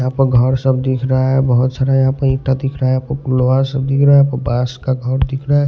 यहां पर घर सब दिख रहा है बहुत सारा यहां पर ईटा दिख रहा है आपको पुलवा सब दिख रहा है बास का घर दिख रहा है।